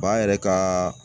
Ba yɛrɛ ka